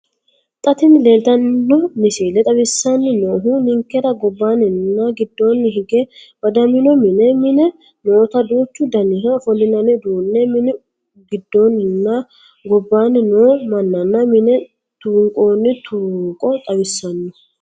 Xa tini leeltino misile xawissanni noohu ninkera gobbaanninna giddoonni hige badamino mine, mine noota duuchu daniha ofollinanni uduunne, mine giddoonninna gobbaanni noo mannana mine tuunqoonni tuuqo xawissanno.